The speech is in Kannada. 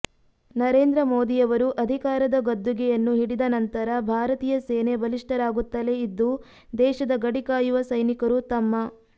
ನರೇಂದ್ರ ಮೋದಿಯವರು ಅಧಿಕಾರದ ಗದ್ದುಗೆಯನ್ನು ಹಿಡಿದ ನಂತರ ಭಾರತೀಯ ಸೇನೆ ಬಲಿಷ್ಠರಾಗುತ್ತಲೇ ಇದ್ದು ದೇಶದ ಗಡಿ ಕಾಯುವ ಸೈನಿಕರೂ ತಮ್ಮ